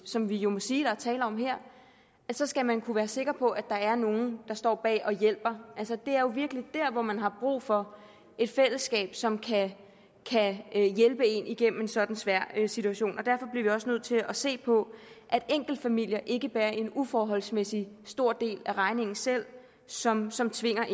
som vi jo må sige der er tale om her så skal man kunne være sikker på at der er nogle der står bag og hjælper altså det er jo virkelig der hvor man har brug for et fællesskab som kan hjælpe en igennem en sådan svær situation og derfor bliver vi også nødt til at se på at enkeltfamilier ikke bærer en uforholdsmæssig stor del af regningen selv som som tvinger